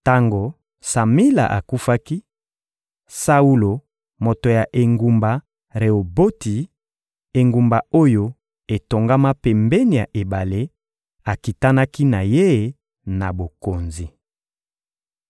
Tango Samila akufaki, Saulo, moto ya engumba Reoboti, engumba oyo etongama pembeni ya ebale, akitanaki na ye na bokonzi.